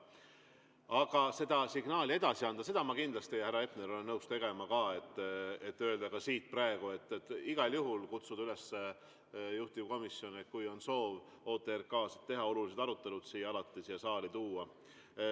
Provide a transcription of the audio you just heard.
Aga seda signaali edasi andma, seda ma kindlasti, härra Hepner, olen nõus tegema, ja ütlen ka siit praegu: igal juhul kutsuda üles juhtivkomisjoni, kui on soov OTRK-sid teha, et olulised arutelud siia saali tuua.